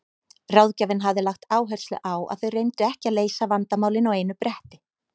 Ráðgjafinn hafði lagt áherslu á að þau reyndu ekki að leysa vandamálin á einu bretti.